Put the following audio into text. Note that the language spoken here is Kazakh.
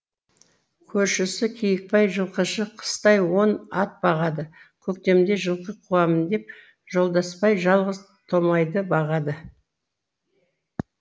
көршісі киікбай жылқышы қыстай он ат бағады көктемде жылқы қуамын деп жолдасбай жалғыз томайды бағады